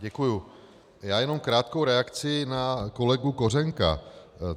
Děkuji, já jenom krátkou reakci na kolegu Kořenka.